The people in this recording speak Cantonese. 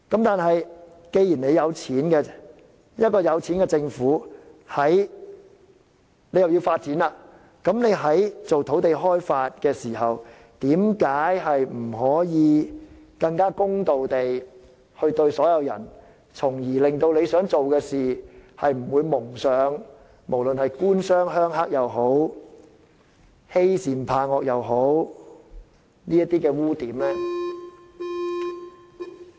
但是，既然財政有盈餘，一個富裕的政府要發展、開發土地，為何不能更公平地對待所有人，從而令其想達成的事，不致蒙上"官商鄉黑"勾結或是欺善怕惡的污點？